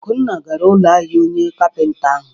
Akunna gara ụlọ ahịa onye kapịnta ahụ.